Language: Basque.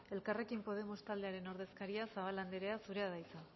elkarrekin podemos talderen ordezkaria zabala anderea zurea da hitza